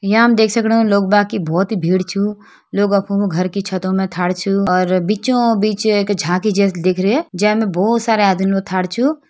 यहां हम देख सकणु की लोग बाग की बहोत ही भीड़ छु लोग अफ़ों घर की छतों में छु और बीचों बीच एक झांकी जैसी दिख रही है जै में बहोत सारे आदमी छु।